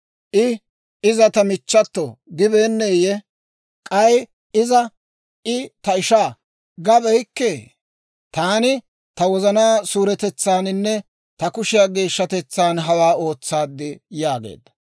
I, ‹Iza ta michchato› gibeenneyye? K'ay iza, ‹I ta ishaa› gabeykkee? Taani ta wozanaa suuretetsaaninne ta kushiyaa geeshshatetsaan hawaa ootsaad» yaageedda.